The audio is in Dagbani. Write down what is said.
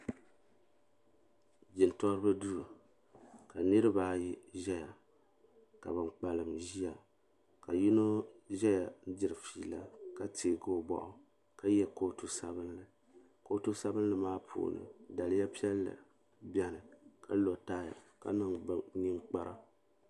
Jintoriba duu ka nirabaayi ʒɛya ka ban kpalim ʒiya ka yino ʒɛya diri fiila ka teegi o boɣu ka yɛ kootu sabinli kootu sabinli maa puuni daliya piɛlli biɛni ka lo tai ka niŋ ninkpara